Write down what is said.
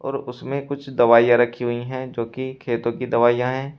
और उसमें कुछ दवाइयां रखी हुई है जो की खेतों की दवाइयां है।